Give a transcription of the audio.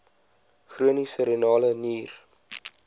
chroniese renale nier